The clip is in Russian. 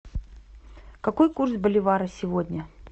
какой курс боливара сегодня